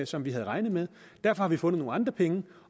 som vi havde regnet med derfor har vi fundet nogle andre penge